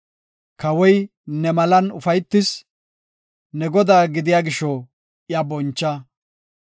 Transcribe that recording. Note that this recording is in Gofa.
Kawoy ne malan ufaytis; ne godaa gidiya gisho iya boncha.